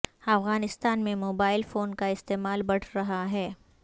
افغانستان میں mobile phone کا استعمال بڑھ رہا ہے